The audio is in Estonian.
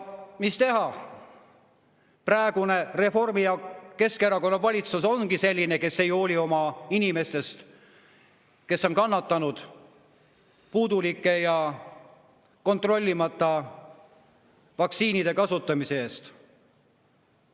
Mis teha, praegune Reformierakonna ja Keskerakonna valitsus ongi selline, et ei hoolita oma inimestest, kes on kannatanud puudulike ja kontrollimata vaktsiinide kasutamise tõttu.